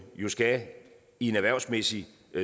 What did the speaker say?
jo skal i en erhvervsmæssig